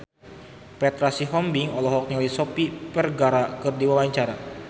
Petra Sihombing olohok ningali Sofia Vergara keur diwawancara